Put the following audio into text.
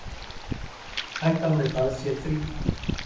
Hættan við það sé þríþætt.